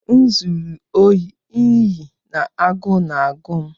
M zuru ohi n'ihi na agụụ na-agụ m.